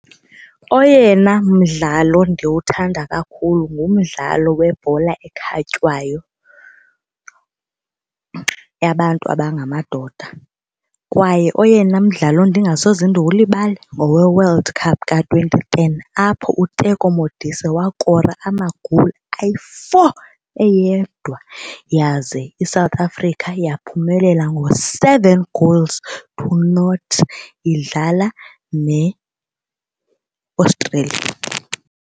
Oyena mdlalo ndiwuthanda kakhulu ngumdlalo webhola ekhatywayo yabantu abangamadoda kwaye oyena mdlalo ndingasoze ndiwulibale ngoweWorld Cup ka-twenty ten apho uTeko Modise wakora ama-goal ayi-four eyedwa yaze iSouth Africa yaphumelela ngo-seven goals to nought idlala neAustralia.